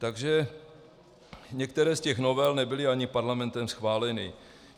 Takže některé z těch novel nebyly ani Parlamentem schváleny.